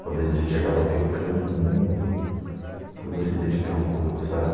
Talvez a gente acaba pecando muito por não se dedicar um pouco, sabe?